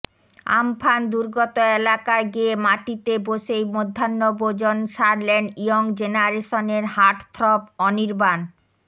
Amphan দুর্গত এলাকায় গিয়ে মাটিতে বসেই মধ্যাহ্নভোজন সারলেন ইয়ং জেনারেশনের হার্টথ্রব অনির্বাণ